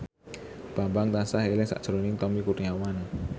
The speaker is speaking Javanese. Bambang tansah eling sakjroning Tommy Kurniawan